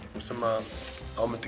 sem